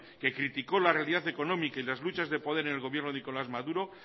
que criticó la realidad económica y las luchas de poder en el gobierno de nicolás maduro